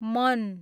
मन